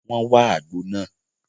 Wọ́n wá àgbo náà